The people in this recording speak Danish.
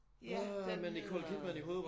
Ja den hedder